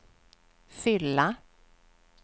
fylla